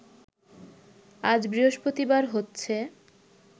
আজ বৃহস্পতিবার হচ্ছে